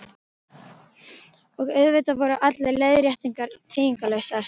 Og auðvitað voru allar leiðréttingar þýðingarlausar.